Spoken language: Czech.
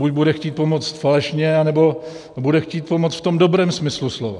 Buď bude chtít pomoct falešně, nebo bude chtít pomoct v tom dobrém smyslu slova.